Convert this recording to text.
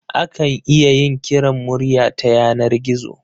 Akan iya yin kiran murya ta yanar gizo